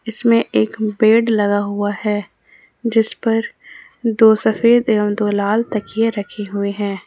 इसमें एक बेड लगा हुआ है जिस पर दो सफेद एवं दो लाल तकिया रखे हुए हैं ।